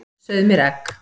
Sauð mér egg.